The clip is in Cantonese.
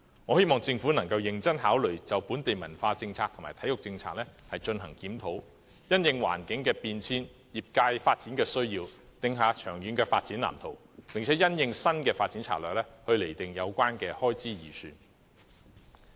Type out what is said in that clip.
我希望政府能認真考慮就本地文化政策和體育政策進行檢討，因應環境變遷和業界發展需要，訂下長遠發展藍圖，並因應新發展策略，釐定相關開支預算。